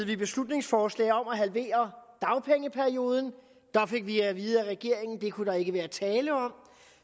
vi beslutningsforslag om at halvere dagpengeperioden der fik vi at vide af regeringen at det kunne der ikke være tale om